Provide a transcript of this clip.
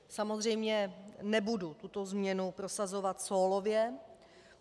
Samozřejmě nebudu tuto změnu prosazovat sólově.